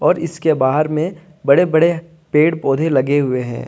और इसके बाहर में बड़े बड़े पेड़ पौधे लगे हुए हैं।